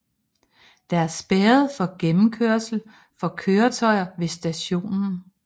Der er spærret for gennemkørsel for køretøjer ved stationen